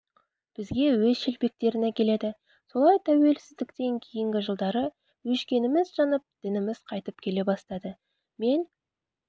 бізге өз шелпектерін әкеледі солай тәуелсіздіктен кейінгі жылдары өшкеніміз жанып дініміз қайтып келе бастады мен